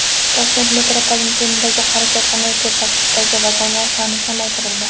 Toshkent metropolitenidagi harakatlanuvchi tarkiblardagi vagonlar soni kamaytirildi .